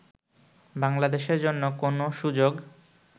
বাংলাদেশের জন্য কোন সুযোগ